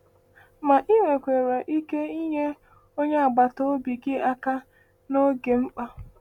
Ma ị nwekwara ike inye onye agbata obi gị aka n’oge mkpa.